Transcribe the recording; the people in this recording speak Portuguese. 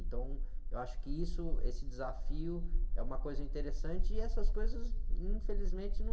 Então, eu acho que isso, esse desafio é uma coisa interessante e essas coisas, infelizmente, não...